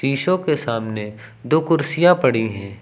शीशों के सामने दो कुर्सियां पड़ी हैं।